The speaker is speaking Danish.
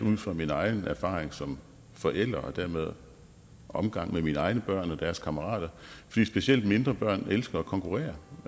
ud fra min egen erfaring som forælder og dermed omgang med mine egne børn og deres kammerater fordi specielt mindre børn elsker at konkurrere